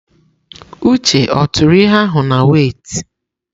Uche ọ tụrụ ihe ahụ na wẹ́itị?